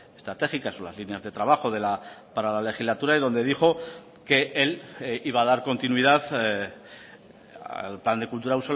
estratégicas o las líneas de trabajo para la legislatura y donde dijo que él iba a dar continuidad al plan de kultura